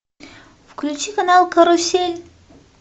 включи канал карусель